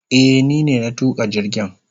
Eh ni ne na tuka jirgin.